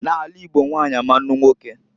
N'ala Igbo nwanyi ama anụ unwoke.